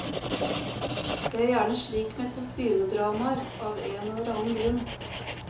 Det er gjerne slik med kostymedramaer, av en eller annen grunn.